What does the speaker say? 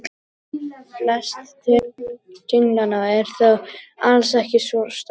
Flest tunglanna eru þó alls ekki svona stór.